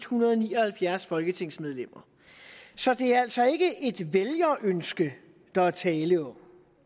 hundrede og ni og halvfjerds folketingsmedlemmer så det er altså ikke et vælgerønske der er tale om